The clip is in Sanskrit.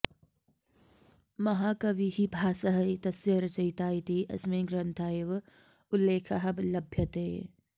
महाकविः भासः एतस्य रचयिता इति अस्मिन् ग्रन्थ एव उल्लेखः लभ्यते